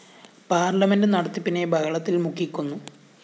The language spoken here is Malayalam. പാർലമെന്റ്‌ നടത്തിപ്പിനെ ബഹളത്തില്‍ മുക്കിക്കൊന്നു